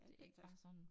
Det ikke bare sådan